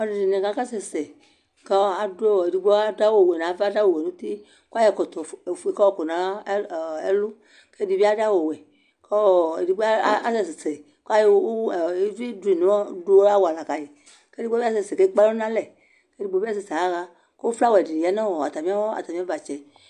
Ɔlu ɛdini akasɛsɛkɔɔ adʋ ɔɔ , edigbo adʋ awu wɛ nava, awu wɛ ŋutikʋ ayɔ ɛkɔtɔ fue kayɔ kɔ nɛlʋkʋ ɛdibi adʋ awuwɛkʋ ɔɔ edigbo asɛsɛkʋ ayɔ evi, uvi dʋ awala kayikʋ edigbo bi asɛsɛ kekpalɔ nalɛkʋ edigbo bi asɛsɛ yaɣaKʋ flawa dini yanʋ atami, atami uvatsɛ